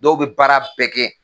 Dɔw be baara bɛɛ kɛ.